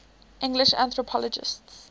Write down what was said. english anthropologists